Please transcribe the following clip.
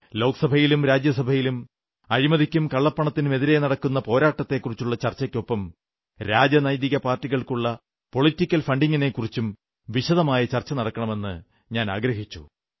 ലോക്സഭയിലും രാജ്യസഭയിലും അഴിമതിയ്ക്കും കള്ളപ്പണത്തിനുമെതിരെ നടക്കുന്ന പോരാട്ടത്തെക്കുറിച്ചുള്ള ചർച്ചയ്ക്കൊപ്പം രാജനൈതിക പാർട്ടികൾക്കുള്ള പൊളിറ്റിക്കൽ ഫണ്ടിംഗിനെക്കുറിച്ചും വിശദമായ ചർച്ച നടക്കണമെന്നു ഞാനാഗ്രഹിച്ചു